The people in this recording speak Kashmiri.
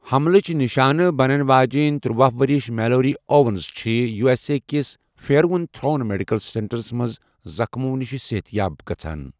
حملٕچ نشانہٕ بنَن واجٮ۪ن تٔرۄہُ ؤرِش میلوری اووَنز چھِ یو ایس اے کِس پھیروُن تُھروُن میڈیکل سینٹرس منٛز، زخمو نِش صحت یاب گژھان۔